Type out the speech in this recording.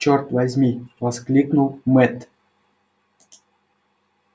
чёрт возьми воскликнул мэтт